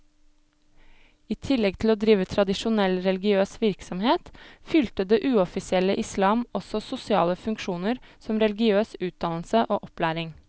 I tillegg til å drive tradisjonell religiøs virksomhet, fylte det uoffisielle islam også sosiale funksjoner som religiøs utdannelse og opplæring.